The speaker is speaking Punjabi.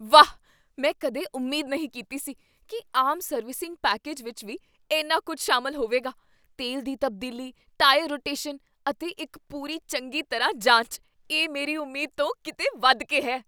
ਵਾਹ, ਮੈਂ ਕਦੇ ਉਮੀਦ ਨਹੀਂ ਕੀਤੀ ਸੀ ਕੀ ਆਮ ਸਰਵਿਸਿੰਗ ਪੈਕੇਜ ਵਿੱਚ ਵੀ ਇੰਨਾ ਕੁੱਝ ਸ਼ਾਮਲ ਹੋਵੇਗਾ ਤੇਲ ਦੀ ਤਬਦੀਲੀ, ਟਾਇਰ ਰੋਟੇਸ਼ਨ ਅਤੇ ਇੱਕ ਪੂਰੀ ਚੰਗੀ ਤਰ੍ਹਾਂ ਜਾਂਚ ਇਹ ਮੇਰੀ ਉਮੀਦ ਤੋਂ ਕੀਤੇ ਵੱਧ ਕੇ ਹੈ!